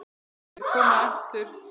En ef þeir koma aftur?